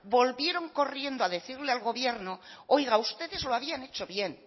volvieron corriendo a decirle al gobierno oiga ustedes lo habían hecho bien